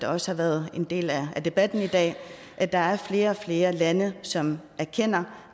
også har været en del af debatten i dag at der er flere og flere lande som erkender